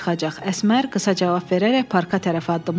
Əsmər qısa cavab verərək parka tərəf addımladı.